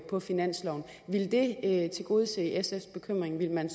på finansloven ville det tilgodese sfs bekymring ville man